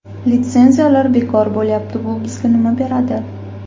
Litsenziyalar bekor bo‘lyapti: bu bizga nima beradi?.